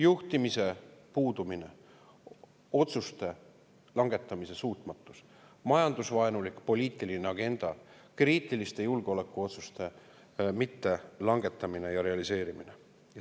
Juhtimise puudumine, otsuste langetamise suutmatus, majandusvaenulik poliitiline agenda, kriitiliste julgeolekuotsuste mittelangetamine ja mitterealiseerimine.